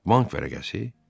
Bank vərəqəsi?